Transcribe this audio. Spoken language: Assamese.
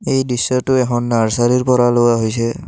এই দৃশ্যটো এখন নাৰ্ছাৰী ৰ পৰা লোৱা হৈছে।